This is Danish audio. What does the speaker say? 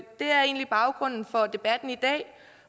er egentlig baggrunden for debatten i dag